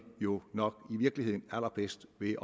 jo nok i virkeligheden allerbedst ved